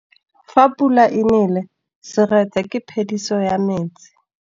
Fa pula e nelê serêtsê ke phêdisô ya metsi.